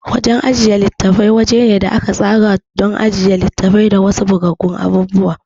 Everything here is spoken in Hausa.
Wajan ajiye litattafai wajene a aka tsara to ajiye litafi da wasu bugaggun abubuwa